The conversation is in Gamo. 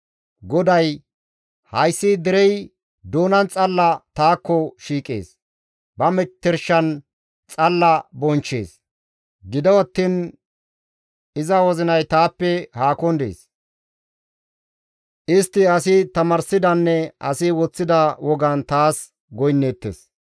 GODAY, «Hayssi derey doonan xalla taakko shiiqees; ba metershan xalla tana bonchchees; gido attiin iza wozinay taappe haakon dees. Istti asi tamaarsidanne asi woththida wogan taas goynneettes.